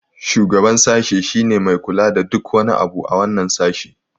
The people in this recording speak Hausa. shugaban sashi shi ne Mai kula da duk wani abu a wannan sashi